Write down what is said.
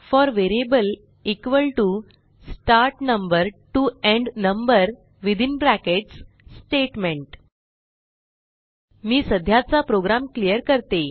four variable start number T O end number Statement मी सध्याचा program clear करते